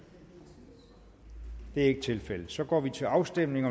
det er ikke tilfældet og så går vi til afstemning